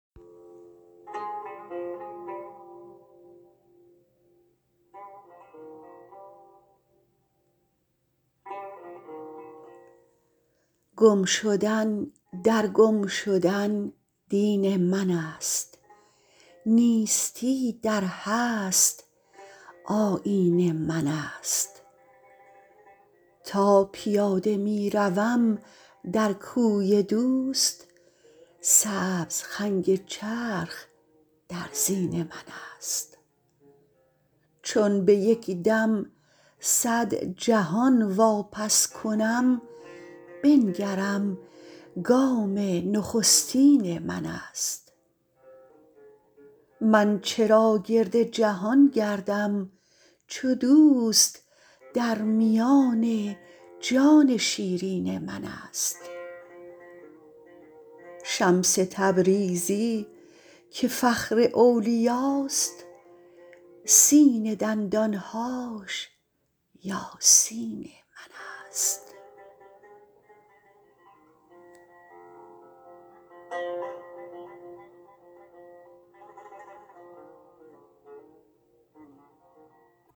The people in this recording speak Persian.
گم شدن در گم شدن دین منست نیستی در هست آیین منست تا پیاده می روم در کوی دوست سبز خنگ چرخ در زین منست چون به یک دم صد جهان واپس کنم بنگرم گام نخستین منست من چرا گرد جهان گردم چو دوست در میان جان شیرین منست شمس تبریزی که فخر اولیاست سین دندان هاش یاسین منست